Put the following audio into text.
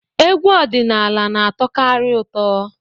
Egwu ọdịnala na-atọkarị ụtọ.